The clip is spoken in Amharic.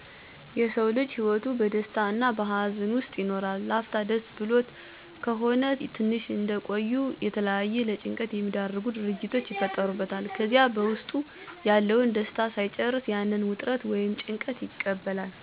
የሰዉ ልጅ ህይወቱ በደስታ እና በሀዘን ዉስጥ ይኖራል, ላፍታ ደስ ብሎት ከሆነ ትንሽ እንደቆዩ የተለያዩ ለጭንቀት የሚዳርጉ ድርጊቶች ይፈጠሩበታል ከዚያ በዉስጡ ያለዉን ደስታ ሳይጨርሰዉ ያንን ዉጥረት ወይም ጭንቀት ይቀበላል ስለዚህ ይህንን የህይወት ዉጣ ዉረድ ለመቋቋም መፍትሄወችን መጠቀም። ለምሳሌ፦ መፅሐፍት በማንበብ ያንን አስቸጋሪ ሀሳብ እንድንረሳ ማድረግ፣ የተለያዩ ትኩረት የሚስቡ ፊልሞችን ማየት፣ መዝናኛ ቦታወች መሄድ፣ ከጓደኛ ቤተሰብ ጋአ በመገናኘት ጊዜን ማሳለፍ፣ ዉሀ መጠጣት፣ እንቅልፍን በመተኛት ራሳችንን ከጭንቀት ማዉጣት እንችላለን።